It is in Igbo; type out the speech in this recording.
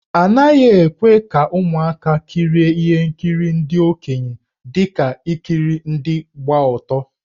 A naghị ekwe ka ụmụaka kirie ihe nkiri ndị okenye dị ka ikiri ndị gba ọtọ.